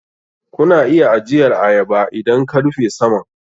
Kuna iya ajiyar ayaba idan ka rufe saman.